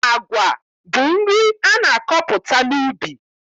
Agwa bụ nri a na-akọpụta n'ubi.